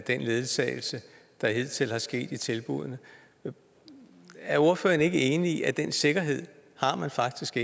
den ledsagelse der hidtil er sket i tilbuddene er ordføreren så ikke enig i at den sikkerhed har man faktisk